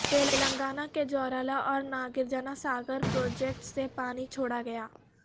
تلنگانہ کے جورالہ اور ناگرجناساگر پروجیکٹس سے پانی چھوڑا گیا